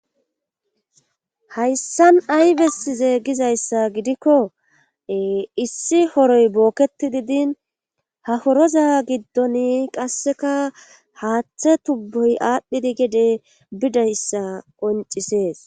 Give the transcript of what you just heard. Hayssan ay bessize gizayssa gidikko ee issi horoy bookettidi din ha horoza giddoni qasseka haathe tubboy aadhidi gede bidayssa qoonccissees